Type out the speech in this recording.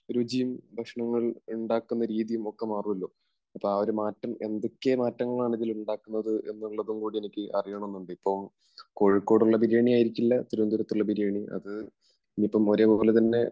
രുചിയും ഭക്ഷണങ്ങൾ ഉണ്ടാക്കുന്ന രീതിയും ഒക്കെ മാറുമല്ലോ. അപ്പോൾ ആ ഒരു മാറ്റം, എന്തൊക്കെയാണ് മാറ്റങ്ങൾ ഇതിൽ ഉണ്ടാകുന്നത് എന്നും കൂടി എനിക്ക് അറിയണമെന്നുണ്ട്. ഇപ്പോൾ കോഴിക്കോടുള്ള ബിരിയാണി ആയിരിക്കില്ല തിരുവനന്തപുരത്തുള്ള ബിരിയാണി അത് ഇനിയിപ്പം ഒരേ പോലെ തന്നെ